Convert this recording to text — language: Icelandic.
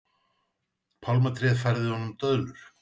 Pálmatréð færði honum döðlur.